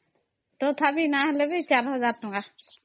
ତଥାପି ନାଇଁ ହେଲେ ବି 4000 ଟଙ୍କା